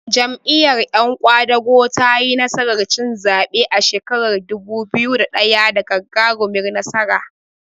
Jam'iyyar yan ƙwadago tayi nasarar cin zaɓe a shekarar dubu biyu da ɗaya da gagarumar nasara.